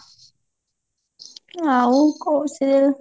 ଆଉ କଉ siriel?